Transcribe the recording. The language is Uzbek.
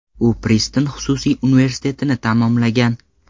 U Priston xususiy universitetini tamomlagan.